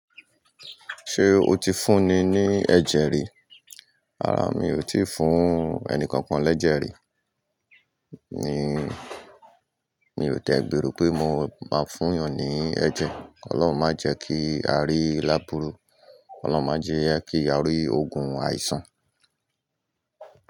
Ṣé o ti fúnni ní ẹ̀jẹ̀ rí? Rárá, mi ò tí fún ẹnì kankan lẹ́jẹ̀ rí mi ò dẹ̀ gbèrò pé mo máa fún èèyàn ní ẹ̀jẹ̀. Ọlọ́run má jẹ́ kí á rí lábúrú. Ọlọ́run má jẹ́ kí á rí ogun àìsàn.